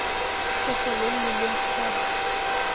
thetha nomnini mhlabaa